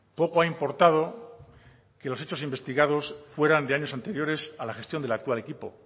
poco ha importado que los hechos investigados fueran de años anteriores a la gestión del actual equipo